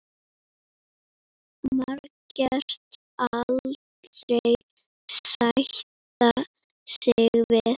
Margrét aldrei sætta sig við.